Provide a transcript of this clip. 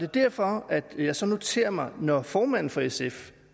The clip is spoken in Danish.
derfor jeg så noterer mig at når formanden for sf